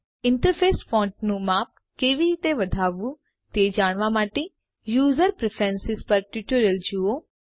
interface ફોન્ટનું માપ કેવી રીતે વધારવું તે જાણવા માટે યુઝર પ્રેફરન્સ પરનું ટ્યુટોરીયલ જુઓ